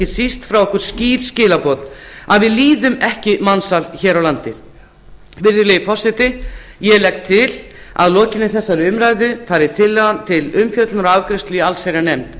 síst frá okkur skýr skilaboð að við líðum ekki mansal hér á landi virðulegi forseti ég legg til að að lokinni þessari umræðu fari tillagan til umfjöllunar og afgreiðslu í allsherjarnefnd